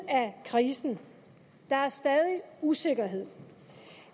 af krisen der er stadig usikkerhed